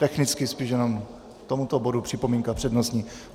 Technicky spíš jenom k tomuto bodu připomínka přednostní?